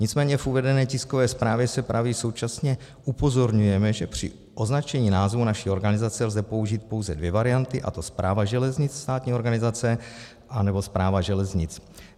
Nicméně v uvedené tiskové zprávě se praví: Současně upozorňujeme, že při označení názvu naší organizace lze použít pouze dvě varianty, a to Správa železnic, státní organizace, anebo Správa železnic.